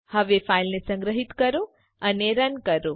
હવે ફાઈલને સંગ્રહીત કરો અને રન કરો